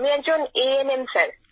আমি একজন ANM sir